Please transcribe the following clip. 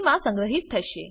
મા સંગ્રહિત થશે